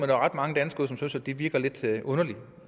der var ret mange danskere som ville synes at det virkede lidt underligt